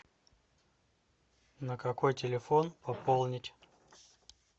на какой телефон пополнить